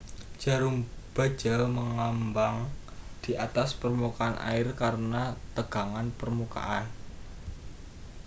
jarum baja mengambang di atas permukaan air karena tegangan permukaan